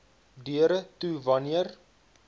deure toe wanneer